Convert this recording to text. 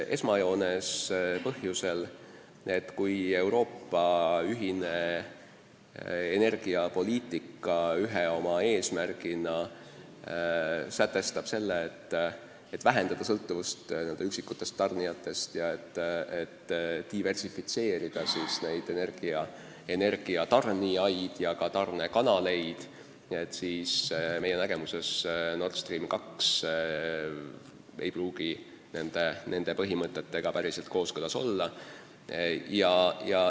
Esmajoones põhjusel, et kui Euroopa ühine energiapoliitika ühe oma eesmärgina sätestab selle, et vähendada sõltuvust üksikutest tarnijatest ja diversifitseerida energiatarnijaid ja ka tarnekanaleid, siis meie arusaama kohaselt Nord Stream 2 ei pruugi nende põhimõtetega päriselt kooskõlas olla.